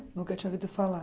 Nunca tinha ouvido falar.